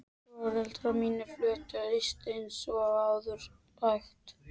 Foreldrar mínir fluttust austur eins og áður sagði.